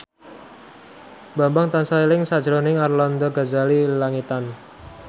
Bambang tansah eling sakjroning Arlanda Ghazali Langitan